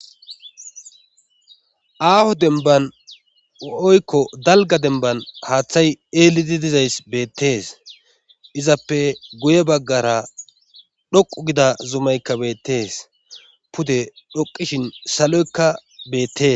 aaho denban oykko dalga denban haaththay eeliti dizays beettees izappe guye baggara dhoqu gida zumaykka beettees pude dhoqishin saloykka beettees